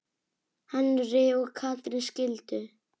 Henry og Katrín skildu.